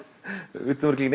vitum örugglega